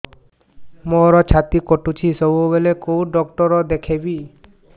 ମୋର ଛାତି କଟୁଛି ସବୁବେଳେ କୋଉ ଡକ୍ଟର ଦେଖେବି